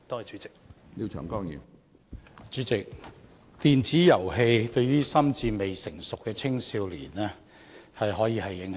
主席，電子遊戲可以對於心智未成熟的青少年造成深遠影響。